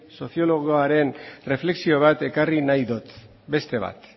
soziologoaren erreflexio bat ekarri nahi dut beste bat